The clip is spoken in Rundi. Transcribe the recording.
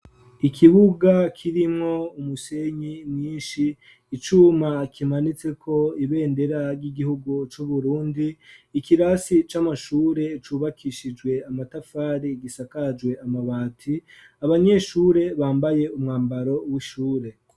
Ikibuga kirimwo umusenyi mwinshi, icuma kimanitseko ibendera ry'igihugu c'Uburundi, ikirasi c'amashure cubakishijwe amatafari gisakajwe amabati, abanyeshure bambaye umwambaro w'ishure.